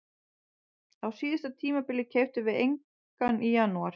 Á síðasta tímabili keyptum við engan í janúar.